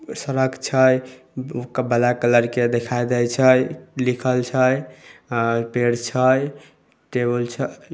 सड़क छै black colour के दिखाई दे छै लिखल छै पेड़ छै टेबुल छै।